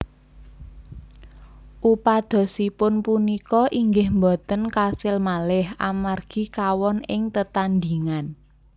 Upadosipun punika inggih boten kasil malih amargi kawon ing tetandhingan